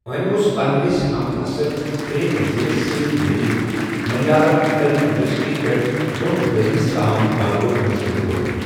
أمۍ اوس پنِنس ہم عصر پریم نذیرَس سۭتۍ مِلِتھ ملیالم فلم انڈسٹریہِ پٮ۪ٹھ دۄن دٔہلِس تام غلبہ حٲصِل کوٚرمُت۔